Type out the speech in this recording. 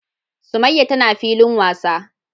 summaiya tana filin wasa.